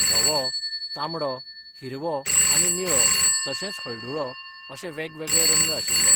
धवो, तांबडो, हिरवो आनी निळो तशेंच हळडुळो अशें वेगवेगळे रंग आशिल्ले.